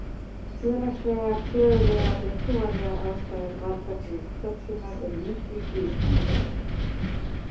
Félagslegar, sögulegar og trúarlegar ástæður valda því að Tsjetsjenar eru miklir stríðsmenn.